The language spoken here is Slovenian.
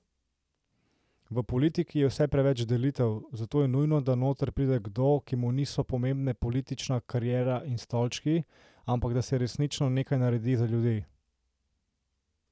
V politiki je vse preveč delitev, zato je nujno, da noter pride kdo, ki mu niso pomembne politična kariera in stolčki, ampak da se resnično nekaj naredi za ljudi.